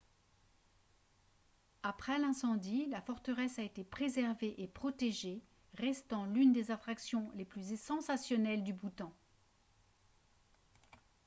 après l'incendie la forteresse a été préservée et protégée restant l'une des attractions les plus sensationnelles du bhoutan